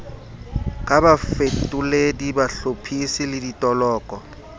ka bafetoledi bahlophisi le ditoloko